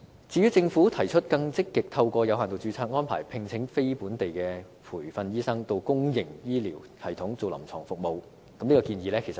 至於政府提出更積極透過有限度註冊的安排，聘請非本地培訓醫生到公營醫療系統提供臨床服務，我覺得這項建議具爭議性。